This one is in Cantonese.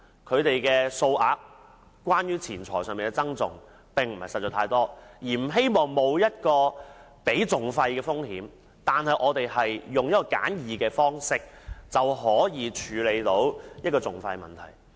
他們所牽涉的金錢訴訟款額不大，自然不想冒支付訟費的風險，而希望以簡易的方式處理錢債問題。